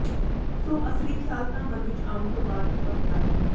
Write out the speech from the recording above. ਸੋ ਅਸਲੀ ਖਿਆਲ ਤਾਂ ਮਨ ਵਿੱਚ ਆਉਣ ਤੋਂ ਬਾਦ ਹੀ ਪੱਕਦਾ ਹੈ